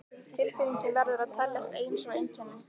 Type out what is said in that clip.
Tilfinningin verður að teljast ein sú einkenni